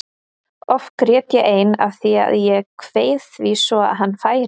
Oft grét ég ein af því að ég kveið því svo að hann færi.